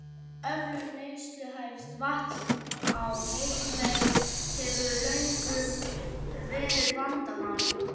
Öflun neysluhæfs vatns á Heimaey hefur löngum verið vandamál.